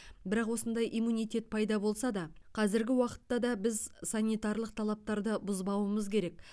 бірақ осындай иммунитет пайда болса да қазіргі уақытта да біз санитарлық талаптарды бұзбауымыз керек